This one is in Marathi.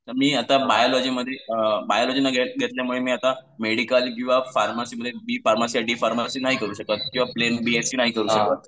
तर मी आता मध्ये अ, बायोलॉजी न घेतल्यामुळे आता मेडिकल किंवा फार्मसीमध्ये, बी फार्मसी किंवा डी फार्मसी नाही करू शकत. किंवा प्लेन बी एस सी नाही करू शकत.